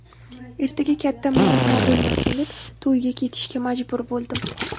Ertaga katta muammo bo‘lmasin deb, to‘yga ketishga majbur bo‘ldim.